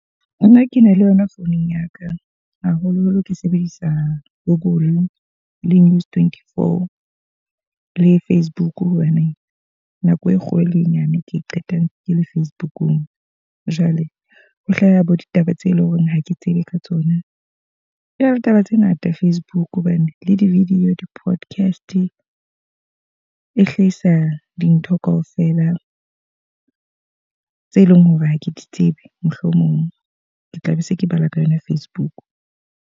Nna ke na le yona founung ya ka. Haholo-holo ke sebedisa google le News twenty-four le Facebook. Hobane nako e kgolo le e nyane ke qetang ke le Facebook-ung. Jwale ho hlaha bo ditaba tse leng hore ha ke tsebe ka tsona. E na le taba tse ngata Facebook hobane le di-video di-podcast, e hlahisa dintho ka ofela tse leng hore ha ke di tsebe mohlomong. Ke tla be se ke bala ka yona Facebook.